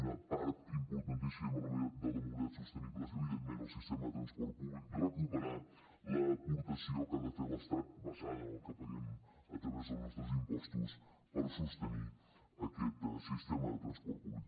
una part importantíssima de la mobilitat sostenible és evidentment el sistema de transport públic recuperar l’aportació que ha de fer l’estat basada en el que paguem a través dels nostres impostos per sostenir aquest sistema de transport públic